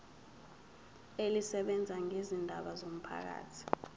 elisebenza ngezindaba zomphakathi